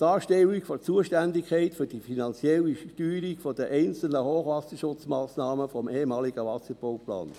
eine Darstellung der Zuständigkeit für die finanzielle Steuerung der einzelnen Hochwasserschutzmassnahmen des ehemaligen Wasserbauplans;